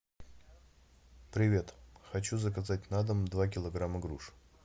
привет хочу заказать на дом два килограмма груш